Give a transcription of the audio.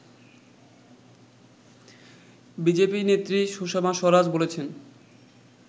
BJP নেত্রী সুষমা স্বরাজ বলেছেন